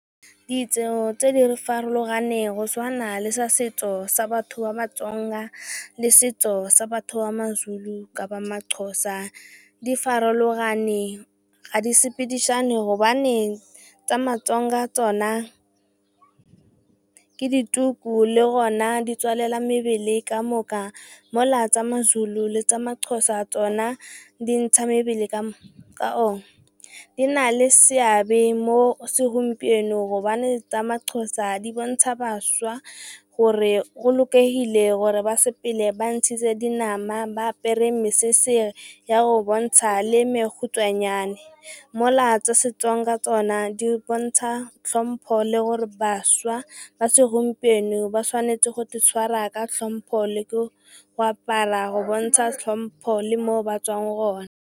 Ditso tse di farologaneng go tshwana le sa setso sa batho ba Matsonga le setso sa batho ba Mazulu kapa Maxhosa di farologane ga di sepedishane hobane tsa Matsonga tsona ke dituku le gona di tswalela mebele ka moka mola tsa Mazulu le tsa Maxhosa tsona di ntsha mebele. Di na le seabe mo segompienong gobane tsa Maxhosa di bontsha baša gore go lokile hore ba sepele ba ntshitse dinama ba apere mesese ya go bontsha le e mekhutswane, mola tsa Setsonga tsona di bontsha tlhompho le gore baša ba segompieno ba tshwanetse go itshwara ka tlhompho, le go apara go bontsha tlhompho le mo ba tswang gone.